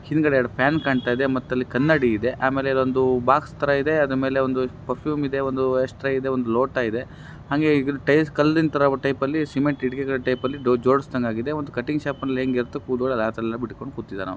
ಹಿಂದಗಡೆ ಎರಡು ಫ್ಯಾನ್ ಕಾಣತಾಯಿದೆ ಮತ್ತೆ ಅಲ್ಲಿ ಕನ್ನಡಿಯಿದೆ ಆಮೇಲೆ ಇದೊಂದು ಬಾಕ್ಸ್ ಥರ ಇದೆ ಅದರ ಮೇಲೆ ಒಂದು ಪೆರ್ಫ್ಯೂಮ್ ಇದೆ ಒಂದು ಸ್ಟ್ರೇ ಇದೆ ಒಂದು ಲೋಟ ಇದೆ ಹಾಗೆ ಈ ಕಲ್ಲಿನ ಥರ ಟೈಪ್ ಅಲ್ಲಿ ಸಿಮೆಂಟ್ ಇಟ್ಟಿಗೆ ಥರ ಜೋಡಿಸಿದಂಗ ಆಗಿದೆ. ಒಂದು ಕಟಿಂಗ್ ಶಾಪ್ ಲ್ಲಿ ಹೇಗೆ ಇರುತ್ತೋ ಹಾಗೆ ಕೂದಲುಗಳನ್ನು ಎಲ್ಲ ಬಿಟ್ಟುಕೊಂಡು ಕುಂತಿದಾನೆ.